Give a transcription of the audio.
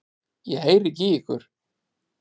Ég heyri ekki í ykkur.